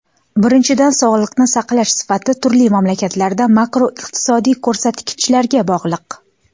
Birinchidan, sog‘liqni saqlash sifati turli mamlakatlarda makroiqtisodiy ko‘rsatkichlarga bog‘liq.